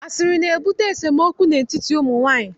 Asịrị na-ebute esemokwu n'etiti ụmụ nwaanyị.